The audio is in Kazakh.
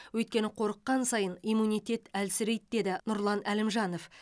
өйткені қорыққан сайын иммунитет әлсірейді деді нұржан әлімжанов